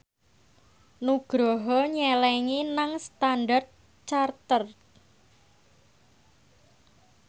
Nugroho nyelengi nang Standard Chartered